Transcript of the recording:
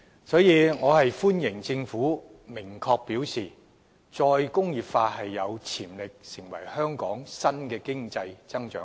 因此，我歡迎政府明確表示"再工業化有潛力成為香港新的經濟增長點"。